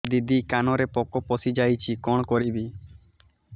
ଦିଦି କାନରେ ପୋକ ପଶିଯାଇଛି କଣ କରିଵି